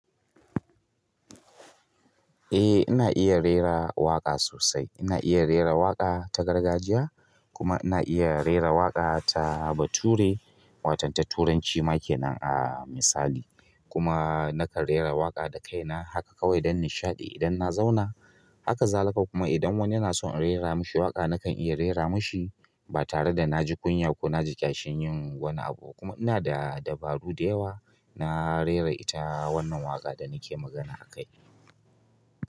Eh ina iya rera waƙa sosai. Ina iya rera waƙa ta gargajiya kuma ina iya rera waƙa ta bature, wato ta turanci make nan a misali. Kuma nakan rera waƙa da kaina haka kawai don nishaɗi idan na zauna. Haka zalikakuma idan wani yana son in rera mashi waƙa nakan iya rera mishi ba tare da na ji kunya ko na ji ƙyashin yin wani abu. Kuma ina da dabaru da yawa na rera ita wannan waƙa da nake magana akai.